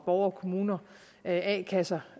borgere kommuner a kasser